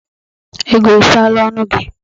Ego i kpuola onu gi?